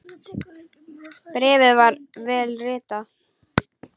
Bréfið var vel ritað.